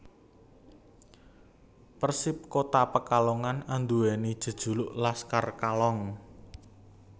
Persip Kota Pekalongan andhuweni jejuluk Laskar Kalong